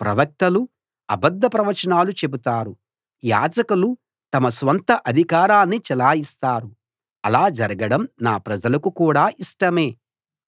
ప్రవక్తలు అబద్ధ ప్రవచనాలు చెబుతారు యాజకులు తమ స్వంత అధికారాన్ని చెలాయిస్తారు అలా జరగడం నా ప్రజలకు కూడా ఇష్టమే